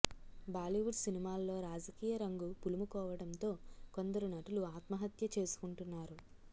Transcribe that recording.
బాలీవుడ్ సినిమాల్లో రాజకీయ రంగు పులుముకోవడంతో కొందరు నటులు ఆత్మహత్య చేసుకుంటున్నారు